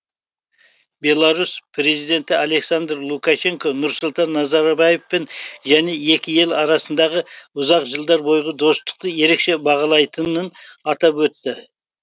беларусь президенті александр лукашенко нұрсұлтан назарбаевпен және екі ел арасындағы ұзақ жылдар бойғы достықты ерекше бағалайтынын атап өтті